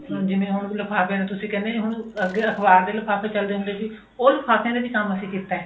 ਹੁਣ ਜਿਵੇਂ ਹੁਣ ਲਿਫਾਫਿਆਂ ਨੂੰ ਤੁਸੀਂ ਕਹਿੰਦੇ ਹੁਣ ਅੱਗੇ ਅਖਬਾਰ ਦੇ ਲਿਫਾਫੇ ਚਲਦੇ ਹੁੰਦੇ ਸੀ ਉਹ ਲਿਫਾਫਿਆ ਦਾ ਕੰਮ ਵੀ ਅਸੀਂ ਕੀਤਾ